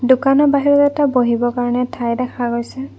দোকানৰ বাহিৰত এটা বহিবৰ কাৰণে ঠাই দেখা গৈছে।